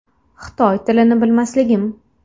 Xitoy tilini bilmasligim.